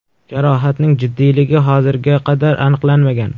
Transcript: Jarohatning jiddiyligi hozirga qadar aniqlanmagan.